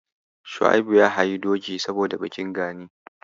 Shua'ibu ya hayi doki saboda bikin Gani.